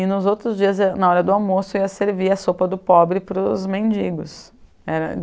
E nos outros dias, na hora do almoço, eu ia servir a sopa do pobre para os mendigos. É